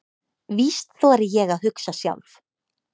Víst þori ég að hugsa sjálf.